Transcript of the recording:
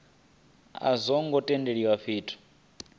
a zwo ngo tendelwa fhethu